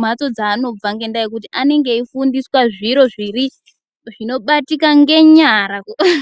mhatso dzavanobva ngekuti anenge eyi fundiswa zviro zviri, zvinobatika ngenyara.